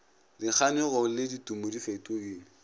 dikganyogo le ditumo di fetogile